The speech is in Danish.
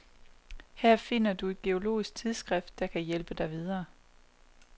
Her finder du et geologisk tidsskrift, der kan hjælpe dig videre.